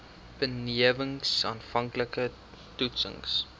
benewens aanvanklike toetsings